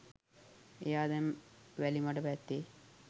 එයා දැන් වැලිමඩ පැත්තේ